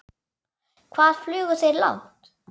Hvað flugu þeir langt?